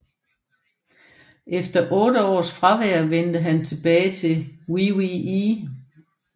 Efter otte års fravær vendte han tilbage til WWE